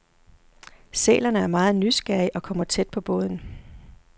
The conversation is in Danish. Sælerne er meget nysgerrige og kommer tæt på båden.